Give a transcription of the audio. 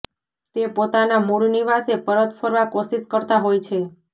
તે પોતાના મૂળ નિવાસે પરત ફરવા કોશિશ કરતા હોય છે